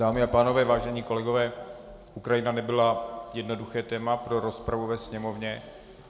Dámy a pánové, vážení kolegové, Ukrajina nebyla jednoduché téma pro rozpravu ve Sněmovně.